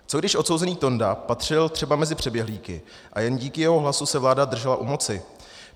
Co když odsouzený Tonda patřil třeba mezi přeběhlíky a jen díky jeho hlasu se vláda držela u moci?